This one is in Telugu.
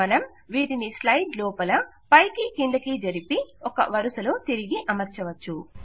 మనం వీటిని స్లైడ్ లోపల పైకి క్రిందికి జరిపి ఒక వరుసలో తిరిగి అమర్చవచ్చు